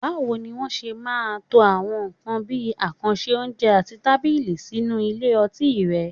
Báwo ni wọ́n ṣe máa ń to àwọn nǹkan bí àkànṣe oúnjẹ àti tábìlì sí nínú ilé ọtí rẹ?